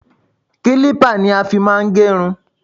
Kílípà ni a fí má ń gẹ irun.